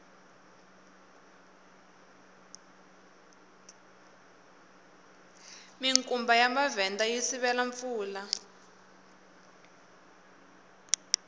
minkumba ya mavhenda yi sivela mpfula